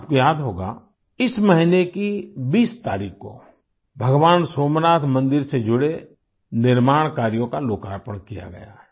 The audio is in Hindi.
आपको याद होगा इस महीने की 20 तारीख को भगवान सोमनाथ मंदिर से जुड़े निर्माण कार्यों का लोकार्पण किया गया है